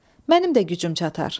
Mənim də gücüm çatar.